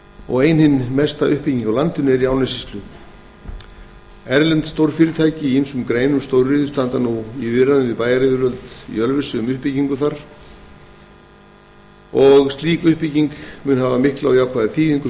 og mesta uppbygging á landinu er í árnessýslu erlend stórfyrirtæki í ýmsum greinum stóriðju standa nú í viðræðum við bæjaryfirvöld í ölfusi um uppbyggingu þar sem mun hafa mikla og jákvæða þýðingu